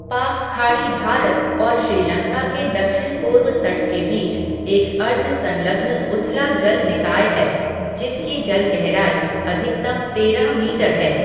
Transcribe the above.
पाक खाड़ी भारत और श्रीलंका के दक्षिण पूर्व तट के बीच एक अर्ध संलग्न उथला जल निकाय है, जिसकी जल गहराई अधिकतम तेरह मीटर है।